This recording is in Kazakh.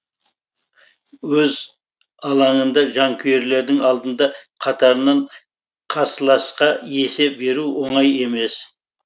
өз алаңында жанкүйерлердің алдында қатарынан қарсыласқа есе беру оңай емес